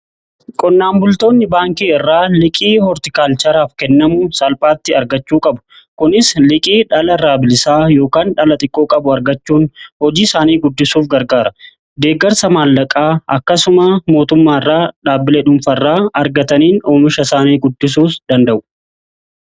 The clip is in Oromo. Qonnaan bultoonni baankii irraa liqii hoortikaalchaaraaf kennamu salphaatti argachuu qabu. Kunis liqii dhala irraa bilisaa yookaan dhala xiqqoo qabu argachuun hojii isaanii guddisuuf gargaara. Deeggarsa maallaqaa akkasuma mootummaa irraa dhaabbilee dhuunfa irraa argataniin oomisha isaanii guddisuus danda'u.